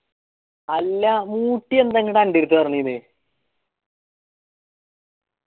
അല്ലാ മുസി എന്താ ആൻറടെതു പറഞ്ഞെര്ത്